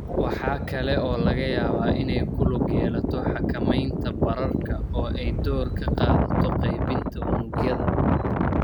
Waxa kale oo laga yaabaa inay ku lug yeelato xakamaynta bararka oo ay door ka qaadato qaybinta unugyada.